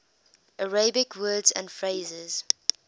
arabic words and phrases